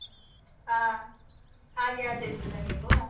ಆ, ಹಾಗೆ ಆಚರಿಸುವುದಾ ನೀವು?